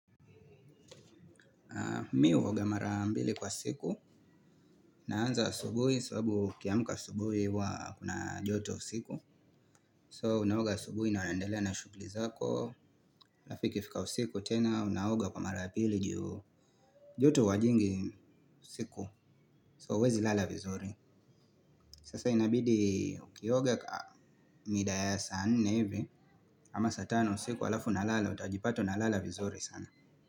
Mi huoga mara mbili kwa siku. Naanza asubuhi. Sababu ukiamka asubuhi huwa kuna joto usiku So unaoga asubuhi na unaendelea na shughuli zako alafu ikifika usiku tena unaoga kwa mara pili joto huwa jingi siku So huwezi lala vizuri. Sasa inabidi ukioga midaa ya saa nne hivi. Ama saa tano usiku alafu unalala. Utajipata unalala vizuri sana.